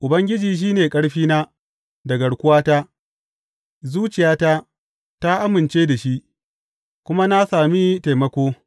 Ubangiji shi ne ƙarfina da garkuwata; zuciyata ta amince da shi, kuma na sami taimako.